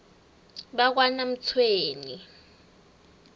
bakanamtshweni